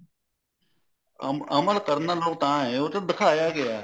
ਅਮਲ ਕਰਨ ਲੋਕ ਤਾਂ ਹੈ ਉਹਦੇ ਚ ਦਿਖਾਇਆ ਗਿਆ